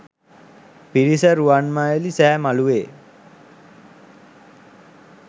පිරිස රුවන්මැලි සෑ මලුවේ